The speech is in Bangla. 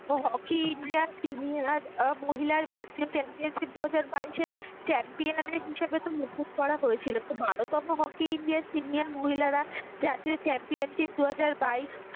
হকি ইন্ডিয়া টিমে মহিলা ভারতীয় চ্যাম্পিয়নশিপ দুহাজার বাইশে champion হিসাবে হয়েছিল হকি ইন্ডিয়া senior মহিলারা championship দুহাজার বাইশ।